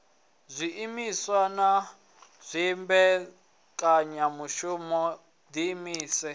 zwiimiswa na dzimbekanyamushumo wo ḓiimisela